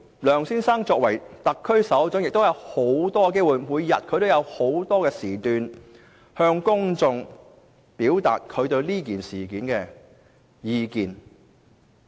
梁先生作為特區首長，亦有眾多機會，每日在不同場合向公眾表達他對此事的意見。